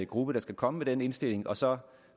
gruppe der skal komme med den indstilling og så